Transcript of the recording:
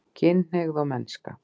KYNHNEIGÐ OG MENNSKA